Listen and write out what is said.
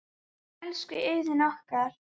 Elsku Iðunn okkar.